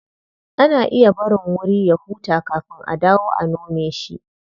Ana iya barin wuri ya huta kafin a dawo a nome shi.